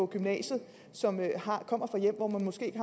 gymnasiet som kommer fra hjem hvor der måske ikke